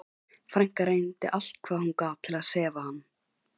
Frænka reyndi allt hvað hún gat til að sefa hann.